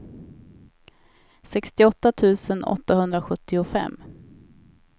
sextioåtta tusen åttahundrasjuttiofem